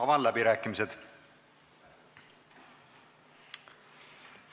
Avan läbirääkimised.